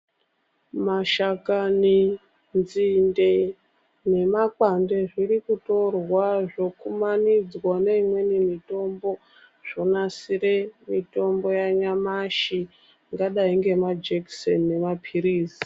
Mashakani, nzinde nemakwande zvirikutorwa zvokumanidzwa neimweni mitombo zvonasire mitombo yanyamashi ingadai ngemajekiseni nemaphirizi.